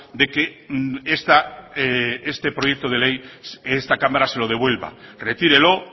de que este proyecto de ley esta cámara se lo devuelva retírelo